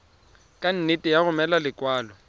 ka nne ya romela lekwalo